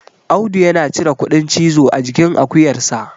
Audu yana cire kuɗin cizo a jikin akuyarsa